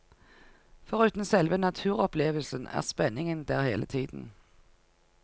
Foruten selve naturopplevelsen er spenningen der hele tiden.